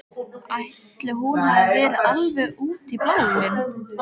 Ætli hún hafi nú verið alveg út í bláinn.